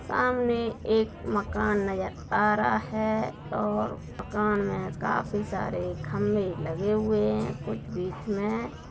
सामने एक मकान नज़र आ रहा है और मकान में काफी सारे खंभे लगे हुए हैं कुछ बीच में हैं।